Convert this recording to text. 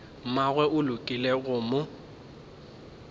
mmagwe o lekile go mo